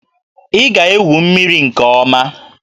Ị ga-egwu mmiri nke ọma!